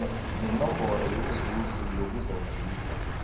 nenomboro yomzuzi yokuzazisa